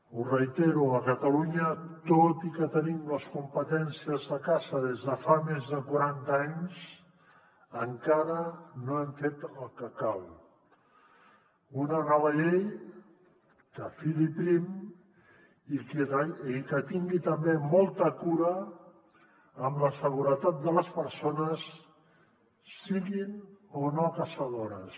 ho reitero a catalunya tot i que tenim les competències de caça des de fa més de quaranta anys encara no hem fet el que cal una nova llei que fili prim i que tin·gui també molta cura amb la seguretat de les persones siguin o no caçadores